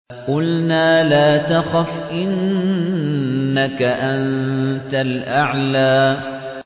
قُلْنَا لَا تَخَفْ إِنَّكَ أَنتَ الْأَعْلَىٰ